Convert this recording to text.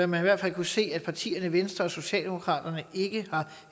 man i hvert fald kunne se at partierne venstre og socialdemokratiet ikke